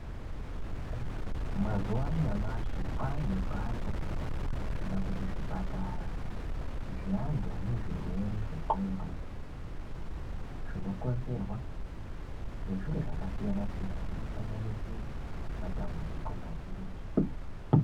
Mazuva anyamashi kwavane nemhatso kana kuti zvipatara zvevantu vane zvirwere zvendxondo zvinokonzerwa nezviro zvakasiyana siyana zvino sanganisira matambudziko mazhinji.